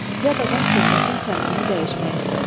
Yad adam söhbətin səmtini dəyişmək istədi.